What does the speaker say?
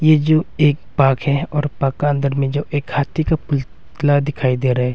यो एक बाग है और बागा अंदर में जो एक हाथी का पुतला दिखाई दे रहा है।